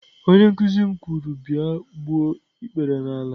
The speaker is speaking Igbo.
Onye nkuzi m kwuru, bia gbuo ikpere n'ala!